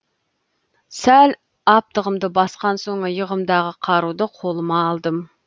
сәл аптығымды басқан соң иығымдағы қаруды қолыма алдым